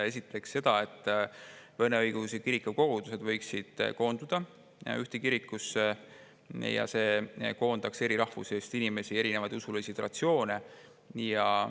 Esiteks seda, et vene õigeusu kiriku kogudused võiksid koonduda ühte kirikusse, mis koondaks eri rahvusest inimesi ja erinevaid usulisi traditsioone.